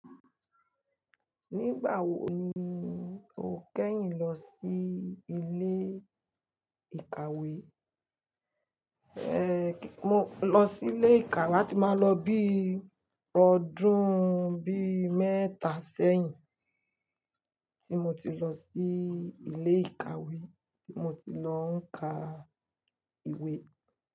Nígbà wo ni o kẹ́yìn lọ sí ilé ìkàwé? Ehn, mo lọ sí ilé ìkàwé a ti máa lọ bí i ọdún bí i mẹ́ta sẹ́yìn tí mo ti lọ sí ilé ìkàwé tí mo ti lọ ń ka ìwé.